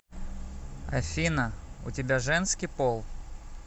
афина у тебя женский пол